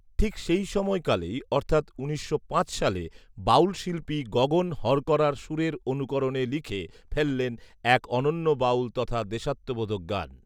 ঠিক সেই সময়কালেই অর্থাৎ উনিশশো পাঁচ সালে বাউল শিল্পী গগন হরকরার সুরের অনুকরণে লিখে ফেললেন এক অনন্য বাউল তথা দেশাত্মবোধক গান